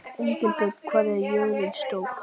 Engilbjört, hvað er jörðin stór?